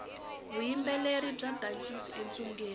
vuyimbeleri bya dankisa entshungwini